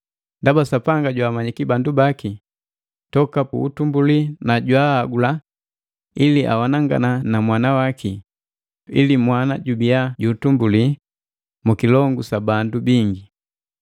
Ndaba Sapanga jwaamanyiki bandu baki toka pu utumbuli na jwaagula ili awanangana na mwana waki, ili mwana jubia ju utumbuli mu kilongu sa bandu bingi.